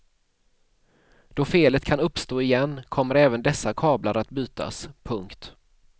Då felet kan uppstå igen kommer även dessa kablar att bytas. punkt